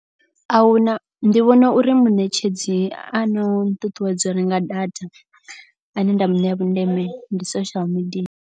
Ahuna ndi vhona uri muṋetshedzi a no nṱuṱuwedza urenga data ane nda mu ṋea vhundeme ndi social media.